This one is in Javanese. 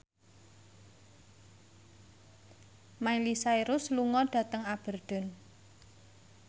Miley Cyrus lunga dhateng Aberdeen